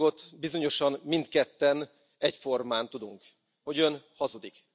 Egy dolgot bizonyosan mindketten egyformán tudunk hogy ön hazudik.